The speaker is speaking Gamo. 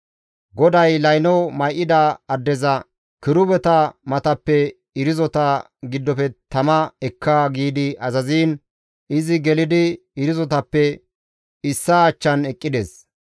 GODAY layno may7ida addeza, «Kirubeta matappe irzota giddofe tama ekka» giidi azaziin, izi gelidi irzotappe issaa achchan eqqides.